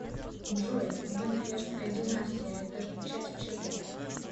джой ганноверская династия это часть чего